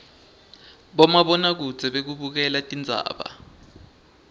bomabonakudze bekubukela tindzaba